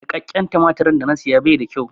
Niƙaƙƙen tumatirin da na saya bai da kyau.